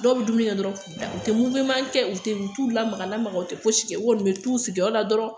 Dɔw bɛ dumuni dɔrɔn k'u da u tɛ kɛ u t'u lamaga-lamaga u tɛ kɛ u bɛ t'u sigiyɔrɔ la dɔrɔn